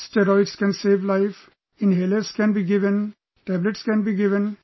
Steroids can save life...inhalers can be given, tablets can be given